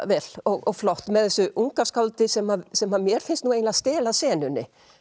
vel og flott með þessu unga skáldi sem sem mér finnst eiginlega stela senunni